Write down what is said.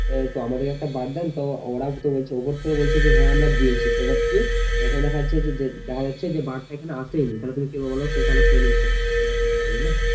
হ্যাঁ আমাদের একটা বাদ দেন তো উপর থেকে বলছে হ্যাঁ আমরা দিয়েছি তো আবার কি এখানে দেখা যাচ্ছে যে দেখা যাচ্ছে যে আসেই নি তাহলে তুমি কি বলবে বলো তাহলে সে খেয়ে নিয়েছে এইরকম বুঝলে